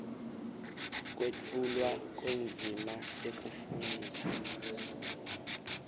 kwetfulwa kwendzima yekufundza